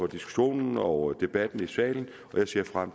diskussionen og debatten i salen og jeg ser frem